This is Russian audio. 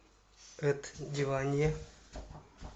эд дивания